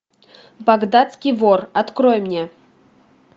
багдадский вор открой мне